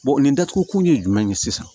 nin datugu kun ye jumɛn ye sisan